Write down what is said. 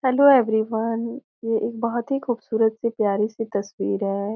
Hello everyone ये एक बहुत ही खूबसूरत सी प्यारी सी तस्वीर है।